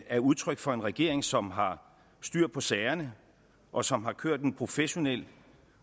er udtryk for en regering som har styr på sagerne og som har kørt et professionelt